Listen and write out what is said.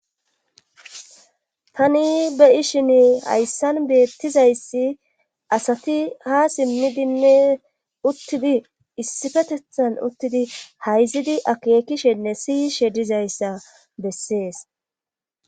tani be'ishin hayssan beettizayssi asati ha simmidinne uttidi issifetethan uttidi hayzidi akeekishenne siyishe dizayssa bessees